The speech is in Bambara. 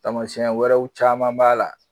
Tamasɛn wɛrɛw caman b'a la